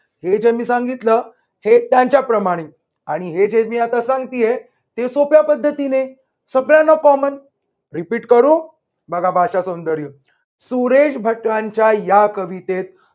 हे जे मी सांगितलं. हे त्यांच्याप्रमाणे आणि हे जे मी आता सांगतीये ते सोप्या पद्धतीने. सगळ्यांना commonrepeat करू बघा भाषासौंदर्य. सुरेश भटांच्या या कवितेत